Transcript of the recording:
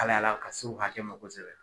alayala ka se o hakɛ ma kosɛbɛ.